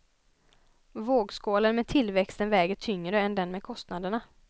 Vågskålen med tillväxten väger tyngre än den med kostnaderna.